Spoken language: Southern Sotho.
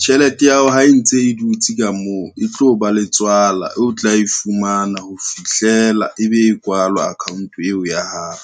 Tjhelete ya hao ha e ntse e dutse ka moo, e tlo ba le tswala e o tla e fumana ho fihlela ebe e kwalwa account eo ya hao.